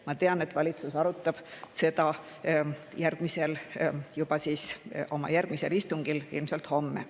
Ma tean, et valitsus arutab seda juba oma järgmisel istungil, ilmselt homme.